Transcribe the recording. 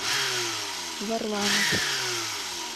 варламов